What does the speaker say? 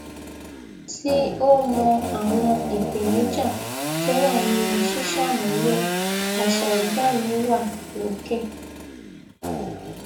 tí ó mọ àwọn ìpèníjà tó wà nínú ṣíṣàmúlò àṣà ọgá mi wà lókè